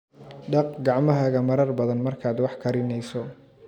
Dhaq gacmahaaga marar badan markaad wax karinayso.